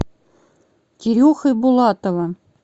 кирюхой булатовым